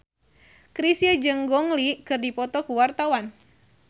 Chrisye jeung Gong Li keur dipoto ku wartawan